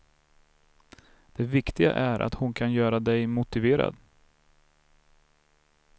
Det viktiga är att hon kan göra dig motiverad.